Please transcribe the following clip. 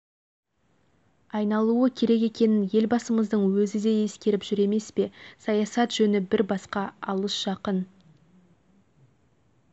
айналуы керек екенін елбасымыздың өзі де ескеріп жүр емес пе саясат жөні бір басқа алыс-жақын